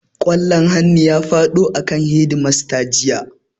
Ƙwallon hannu ya faɗo akan hedimasta jiya